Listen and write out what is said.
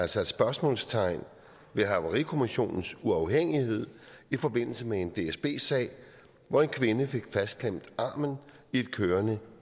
er sat spørgsmålstegn ved havarikommissionens uafhængighed i forbindelse med en dsb sag hvor en kvinde fik fastklemt armen i et kørende